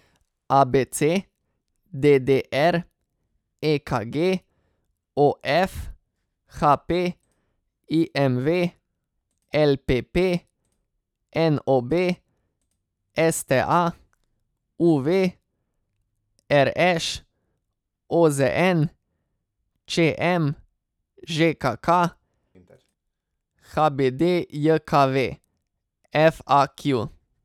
A B C; D D R; E K G; O F; H P; I M V; L P P; N O B; S T A; U V; R Š; O Z N; Č M; Ž K K; H B D J K V; F A Q.